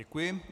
Děkuji.